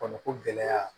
Kɔnɔko gɛlɛya